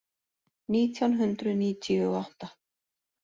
Nítján hundruð níutíu og átta